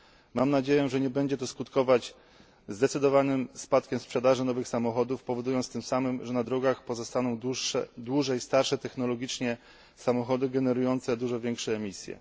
Mam nadzieję, że nie będzie to skutkować zdecydowanym spadkiem sprzedaży nowych samochodów, powodując tym samym, że na drogach pozostaną dłużej starsze technologicznie samochody generujące dużo większe emisje.